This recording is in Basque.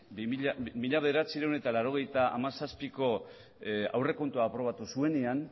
mila bederatziehun eta laurogeita hamazazpiko aurrekontua aprobatu zuenean